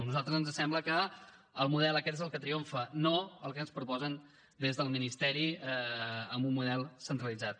a nosaltres ens sembla que el model aquest és el que triomfa no el que ens proposen des del ministeri amb un model centralitzat